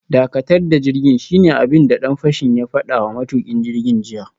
Dakatar da jirgin, shine abin da dan fashin ya fada wa matukin jirgin jiya